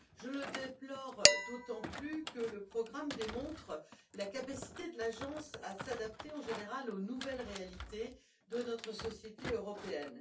Je le déplore d'autant plus que le programme démontre la capacité de l'Agence à s'adapter, en général, aux nouvelles réalités de notre société européenne.